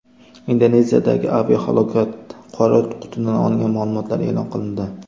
Indoneziyadagi aviahalokat: qora qutidan olingan ma’lumotlar e’lon qilindi.